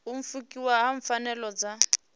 u pfukiwa ha pfanelo dza